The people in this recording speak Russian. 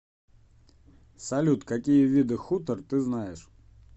салют какие виды хутор ты знаешь